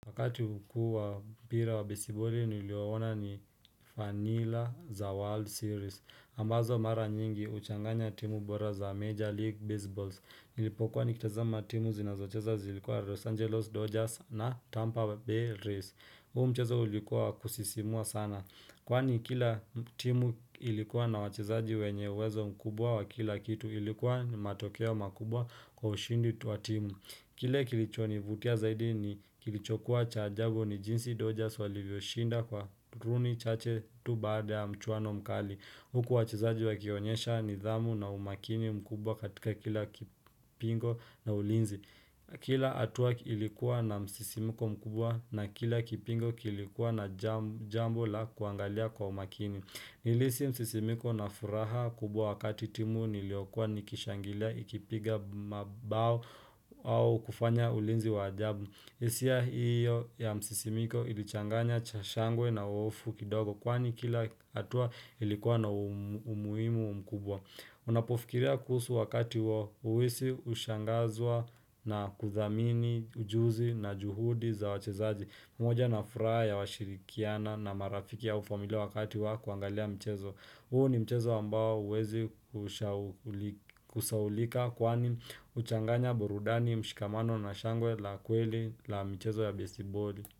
Wakati hukuwa mpira wa besiboli niliouona ni vanilla za World Series ambazo mara nyingi uchanganya timu bora za Major League Baseballs. Nilipokuwa nikitazama timu zinazocheza zilikuwa Los Angeles Dodgers na Tampa Bay Rays huu mcheza ulikuwa wa kusisimua sana. Kwani kila timu ilikuwa na wachezaji wenye uwezo mkubwa wa kila kitu. Ilikuwa ni matokea wa makubwa kwa ushindi tu wa timu kile kilicho nivutia zaidi ni kilichokuwa cha ajabu ni jinsi Dodgers walivyoshinda kwa runi chache tu baada ya mchuano mkali. Huku wachezaji wakionyesha nidhamu na umakini mkubwa katika kila kipingo na ulinzi. Kila hatua ilikuwa na msisimiko mkubwa na kila kipingo kilikuwa na jambo la kuangalia kwa umakini. Nilihisi msisimiko na furaha kubwa wakati timu niliokwa nikishangilia ikipiga mabao au kufanya ulinzi wa ajabu. Hisia hiyo ya msisimko ilichanganya cha shangwe na hofu kidogo kwani kila hatua ilikuwa na umuhimu mkubwa. Unapofikiria kuhusu wakati huo uhisi hushangazwa na kuthamini ujuzi na juhudi za wachezaji. Umoja na furaha ya washirikiana na marafiki au familia wakati wa kuangalia mchezo. Huu ni mchezo ambao huwezi kusahaulika kwani huchanganya burudani, mshikamano na shangwe la kweli la mchezo wa besiiboli.